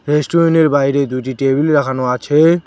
রেস্টুরেন্টের বাইরে দুইটি টেবিল রাখানো আছে।